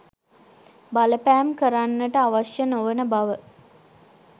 බලපෑම් කරන්නට අවශ්‍ය නොවන බව